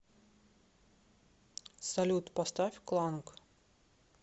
салют поставь кланг